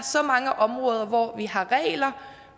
så mange områder hvor vi har regler